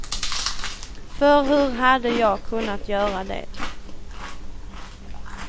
För hur hade jag kunnat göra det.